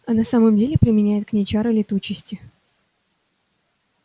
а на самом деле применяет к ней чары летучести